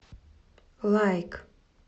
лайк